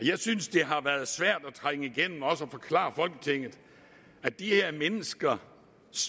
jeg synes det har været svært at trænge igennem og forklare folketinget at de her mennesker